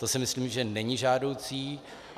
To si myslím, že není žádoucí.